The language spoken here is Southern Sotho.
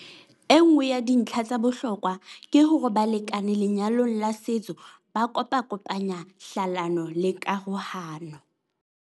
Enngwe ya dintlha tsa bohlokwa ke hore balekane lenyalong la setso ba kopakopanya hlalano le karohano.